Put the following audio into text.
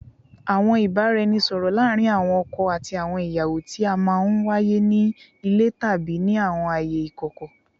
Awọn ibaraẹnisọrọ laarin awọn ọkọ ati awọn iyawo ti a maa n waye ni ile tabi ni awọn aaye ikọkọ